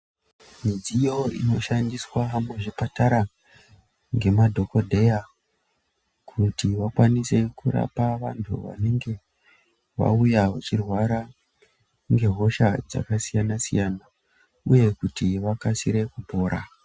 Midziyo inoshandiswa muzvipatara ngemadhokodheya kuti vakwanise kurapa vantu vanege vauya vachirwara ngehosha dzakasiyana siyana uye kuti vakasire kupora.